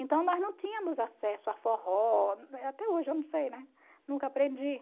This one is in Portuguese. Então nós não tínhamos acesso a forró, até hoje eu não sei, né, nunca aprendi.